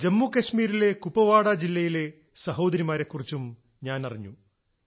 ജമ്മു കശ്മീരിലെ കുപവാടാ ജില്ലയിലെ സഹോദരിമാരെക്കുറിച്ചും ഞാനറിഞ്ഞു